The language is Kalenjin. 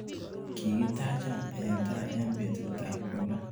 Kikitacha eng tai betutap kolo.